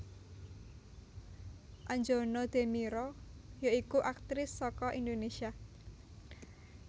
Anjana Demira ya iku aktris saka Indonésia